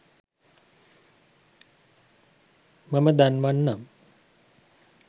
මම දන්වන්නම්.